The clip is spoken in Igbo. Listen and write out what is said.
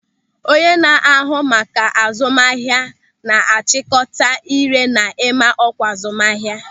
Onye na-ahụ maka azụmahịa na-achịkọta ị́ré na ịma ọkwa azụmahịa.